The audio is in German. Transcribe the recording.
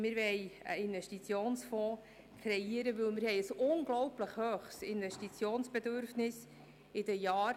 Wir wollen einen Investitionsfonds kreieren, weil wir in den Jahren 2022–2027 ein unglaublich hohes Investitionsbedürfnis haben.